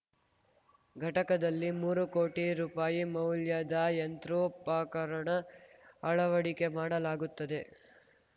ಘಟಕದಲ್ಲಿ ಮೂರು ಕೋಟಿ ರುಪಾಯಿ ಮೌಲ್ಯದ ಯಂತ್ರೋಪಕರಣ ಅಳವಡಿಕೆ ಮಾಡಲಾಗುತ್ತದೆ